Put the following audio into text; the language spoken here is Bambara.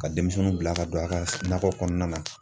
Ka denmisɛnninw bila ka don a ka nakɔ kɔnɔna na